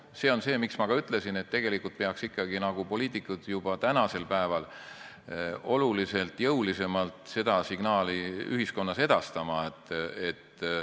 See on see, miks ma ka ütlesin, et tegelikult peaks ikka poliitikud juba tänasel päeval oluliselt jõulisemalt seda signaali ühiskonnas edastama.